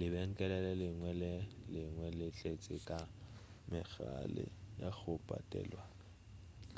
lebenkele le lengwe le lengwe le tletše ka megala ya go patelwa